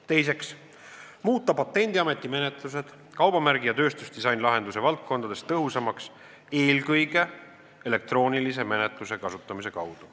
Teiseks, muuta Patendiameti menetlused kaubamärgi ja tööstusdisainilahenduse valdkondades tõhusamaks eelkõige elektroonilise menetluse kasutamise kaudu.